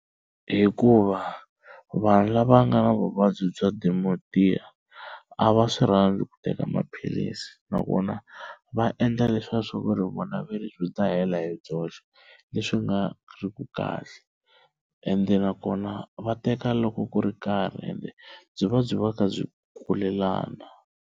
Hikuva vanhu lava nga na vuvabyi bya Dementia a va swi rhandzi ku teka maphilisi nakona va endla leswaku vona va ri byi ta hela hi byoxe leswi nga riku kahle ende nakona va teka loko ku ri karhi ende byi va byi va kha byi kulelana.